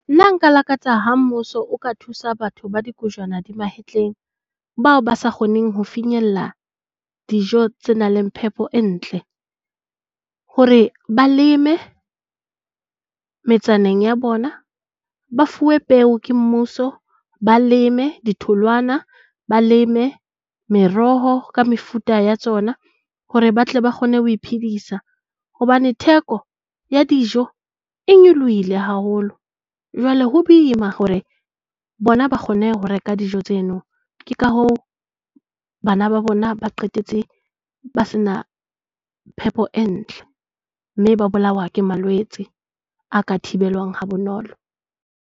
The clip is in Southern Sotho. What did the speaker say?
Nna nka lakatsa ha mmuso o ka thusa batho ba dikojwana dimahetleng, bao ba sa kgoneng ho finyella dijo tse nang le phepo e ntle. Hore ba leme metsaneng ya bona. Ba fuwe peo ke mmuso. Ba leme ditholwana. Ba leme meroho ka mefuta ya tsona hore ba tle ba kgone ho iphedisa hobane theko ya dijo e nyolohile haholo. Jwale ho boima hore bona ba kgone ho reka dijo tseno. Ke ka ho bana ba bona ba qetetse ba sena phepo e ntle, mme ba bolawa ke malwetse a ka thibelwang ha bonolo.